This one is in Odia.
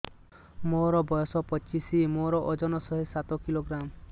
ମୋର ବୟସ ପଚିଶି ମୋର ଓଜନ ଶହେ ସାତ କିଲୋଗ୍ରାମ